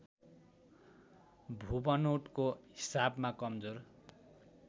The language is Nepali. भूबनोटको हिसाबमा कमजोर